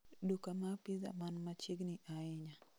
Duka ma pizza man machiegni ahinya